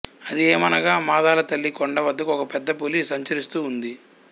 అది ఏమనగా మాదాలతల్లికొండ వద్ద ఒక పెద్దపులి సంచరిస్తూ ఉంది